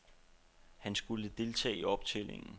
Han skulle deltage i optællingen.